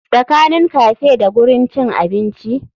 Tsakanin cafe da gurin cin abinci?